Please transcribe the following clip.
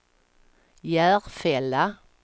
Järfälla